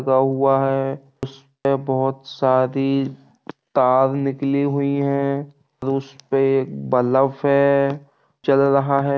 उस पे बहोत सारी तार निकली हुई है| उस पे एक बल्ब है| चल रहा है।